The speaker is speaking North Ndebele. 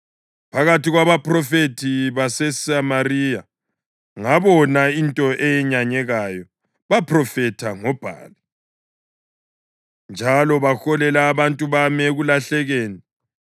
“Phakathi kwabaphrofethi baseSamariya ngabona into eyenyanyekayo: Baphrofetha ngoBhali njalo baholela abantu bami ekulahlekeni.